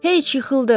Hey, yıxıldım.